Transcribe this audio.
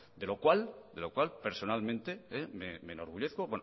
de lo cual personalmente me enorgullezco